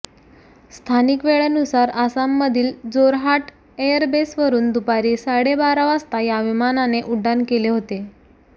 स्थानिक वेळेनुसार आसाममधील जोरहाट एअरबेसवरून दुपारी साडे बारा वाजता या विमानाने उड्डाण केले होते